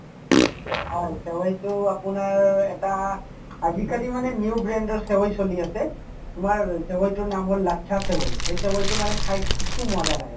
হয় চেৱাইতো আপোনাৰ এটা আজিকালি মানে new brand ৰ চেৱাই চলি আছে তোমাৰ চেৱাই তোৰ নাম হল লাচ্চা চেৱাই সেই চৱাই তো মানে খাই কিছু মজা লাগে মানে